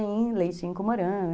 em leite em comorã.